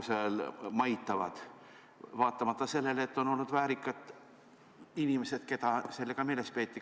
Siiamaani maitavad seal, vaatamata sellele, et on olnud väärikaid inimesi, keda varem tänavanimedega meeles peeti.